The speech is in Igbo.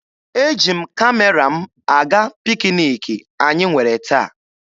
Eji m Kamera m aga pikiniki anyị nwere taa.